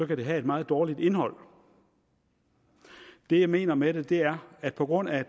kan det have et meget dårligt indhold det jeg mener med det er at på grund af